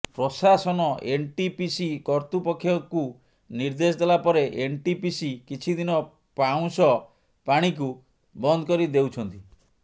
ପ୍ରଶାସନ ଏନଟିପିସି କର୍ତୁପକ୍ଷକୁ ନିର୍ଦ୍ଦେଶ ଦେଲାପରେ ଏନଟିପିସି କିଛି ଦିନ ପାଉଁଶ ପାଣିକୁ ବନ୍ଦକରି ଦେଉଛନ୍ତି